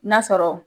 N'a sɔrɔ